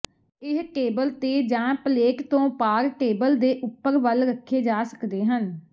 ਇਹ ਟੇਬਲ ਤੇ ਜਾਂ ਪਲੇਟ ਤੋਂ ਪਾਰ ਟੇਬਲ ਦੇ ਉੱਪਰ ਵੱਲ ਰੱਖੇ ਜਾ ਸਕਦੇ ਹਨ